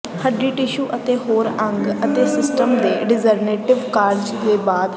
ਹੱਡੀ ਟਿਸ਼ੂ ਅਤੇ ਹੋਰ ਅੰਗ ਅਤੇ ਸਿਸਟਮ ਵਿੱਚ ਡੀਜਨਰੇਿਟਵ ਕਾਰਜ ਦੇ ਬਾਅਦ